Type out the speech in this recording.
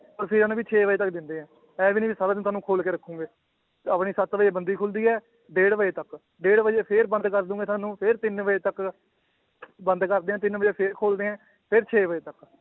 ਛੇ ਵਜੇ ਤੱਕ ਦਿੰਦੇ ਹੈ ਇਹ ਵੀ ਨੀ ਵੀ ਸਾਰਾ ਦਿਨ ਤੁਹਾਨੂੰ ਖੋਲ ਕੇ ਰੱਖੋਗੇ ਆਪਣੀ ਸੱਤ ਵਜੇ ਬੰਦੀ ਖੁੱਲਦੀ ਹੈ ਡੇਢ ਵਜੇ ਤੱਕ, ਡੇਢ ਵਜੇ ਫਿਰ ਬੰਦ ਕਰ ਦਓਗੇ ਤੁਹਾਨੂੰ ਫਿਰ ਤਿੰਨ ਵਜੇ ਤੱਕ ਬੰਦ ਕਰਦੇ ਹੈ ਤਿੰਨ ਵਜੇ ਫਿਰ ਖੋਲਦੇ ਹੈ ਫਿਰ ਛੇ ਵਜੇ ਤੱਕ